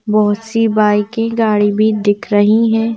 बहुत सी बाइक की गाड़ी भी दिख रही है।